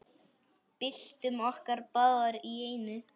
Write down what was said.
Byltum okkur báðar í einu.